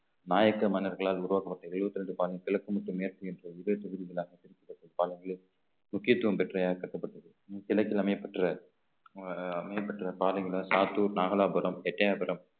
நாயக்க மன்னர்களால் உருவாக்கப்பட்ட எழுபத்திரண்டு பதினைந்து கிழக்கு முத்து மேற்கு என்று இதே தொகுதிகளாக பிரிக்கப்பட்ட காலங்களில் முக்கியத்துவம் பெற்ற கட்டப்பட்டது கிழக்கில் அமையப்பெற்ற அஹ் அமையப்பெற்ற பாதைகளை சாத்தூர் நாகலாபுரம் எட்டய்யாபுரம்